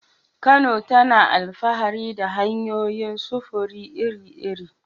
Kano tana alfahari da hanyoyin sufuri iri-iri.